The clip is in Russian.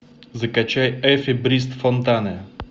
закачай эффи брист фонтане